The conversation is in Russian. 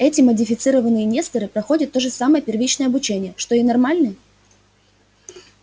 эти модифицированные несторы проходят то же самое первичное обучение что и нормальные